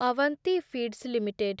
Avanti feeds limited